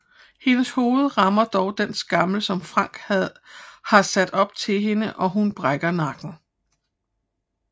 Hendes hoved rammer dog den skammel som Frank har sat op til hende og hun brækker nakken